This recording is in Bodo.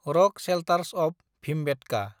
rock shelters of Bhimbetka